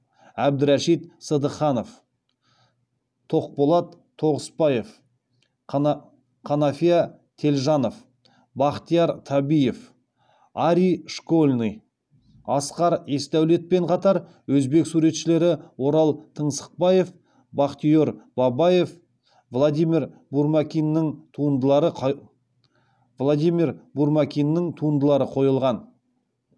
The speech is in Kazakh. әбдірашит сыдыханов тоқболат тоғысбаев қанафия телжанов бахтияр табиев арий школьный асқар есдаулетпен қатар өзбек суретшілері орал тыңсықбаев бахтиер бабаев владимир бурмакиннің туындылары қойылған